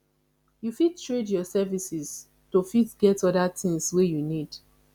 you fit trade your services to fit get oda things wey you need